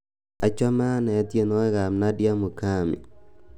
achome ane tienwogik ab nadia mukami